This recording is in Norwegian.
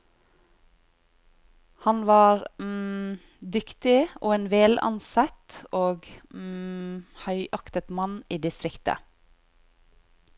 Han var dyktig og en velansett og høyaktet mann i distriktet.